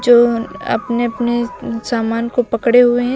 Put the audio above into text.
जो अपने अपने सामान को पकड़े हुए हैं।